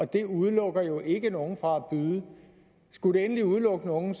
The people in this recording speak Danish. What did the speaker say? det udelukker jo ikke nogen fra at byde skulle det endelig udelukke nogen